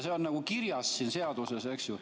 See on kirjas seaduses, eks ju.